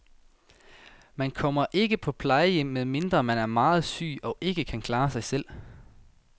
Man kommer ikke på plejehjem, medmindre man er meget syg og ikke kan klare sig selv.